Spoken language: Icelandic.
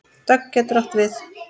Dögg getur átt við